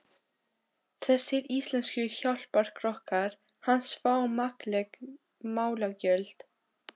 Þessir íslensku hjálparkokkar hans fá makleg málagjöld.